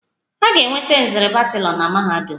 A ga-enweta nzere bachelọ na mahadum.